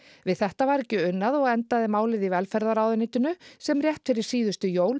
við þetta var ekki unað og endaði máli í velferðarráðuneytinu sem rétt fyrir síðustu jól